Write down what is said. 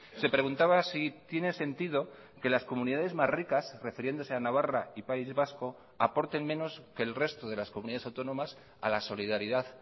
se preguntaba sí tiene sentido que las comunidades más ricas refiriéndose a navarra y país vasco aporten menos que el resto de las comunidades autónomas a la solidaridad